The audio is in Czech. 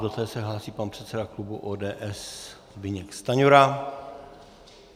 Do té se hlásí pan předseda klubu ODS Zbyněk Stanjura.